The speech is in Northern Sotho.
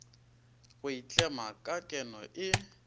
go itlema ka keno e